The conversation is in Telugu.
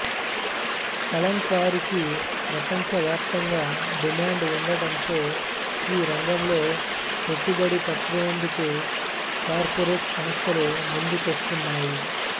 కలంకారీకి ప్రపంచ వ్యాప్తంగా డిమాండ్ ఉండటంతో ఈ రంగంలో పెట్టుబడి పెట్టేందుకు కార్పొరేట్ సంస్థలు ముందుకొస్తున్నాయి